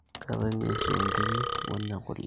keetae nguesi oo nkiri we ne kule